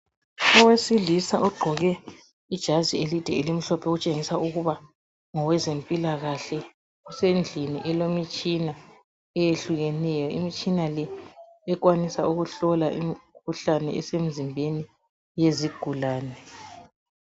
Owesilisa ogqoke ijazi elide elimhlophe okutshengisa ukuba ngowezempilakahle. Usendlini elemitshina eyehlukeneyo, imitshina le ekwanisa ukuhlola imikhuhlane esemzimbeni yezigulane.